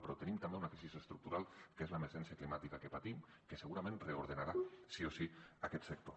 però tenim també una crisi estructural que és l’emergència climàtica que patim que segurament reordenarà sí o sí aquest sector